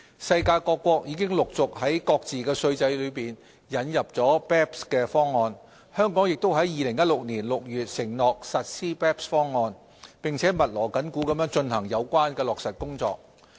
世界各國已陸續在各自的稅制當中引入 BEPS 方案，香港也於2016年6月承諾實施 BEPS 方案，並密鑼緊鼓地進行相關落實工作。